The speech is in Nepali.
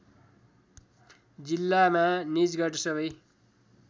जिल्लामा निजगढ सबै